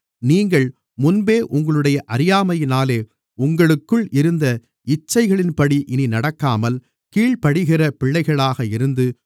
நீங்கள் முன்பே உங்களுடைய அறியாமையினாலே உங்களுக்குள் இருந்த இச்சைகளின்படி இனி நடக்காமல் கீழ்ப்படிகிற பிள்ளைகளாக இருந்து